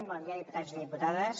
bon dia diputats i diputades